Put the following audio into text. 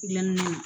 Gilanni na